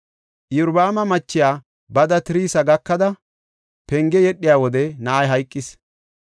Iyorbaama machiya bada Tirsa gakada, penge yedhiya wode na7ay hayqis.